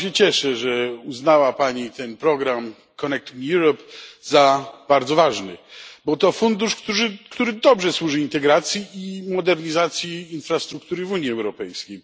Bardzo się cieszę, że uznała Pani ten program Connecting Europe za bardzo ważny. Był to fundusz, który dobrze służy integracji i modernizacji infrastruktury w Unii Europejskiej.